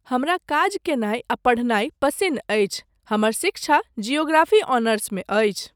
हमरा काज कयनाय आ पढ़नाय पसिन्न अछि। हमर शिक्षा जियोग्रफी ऑनर्समेअछि।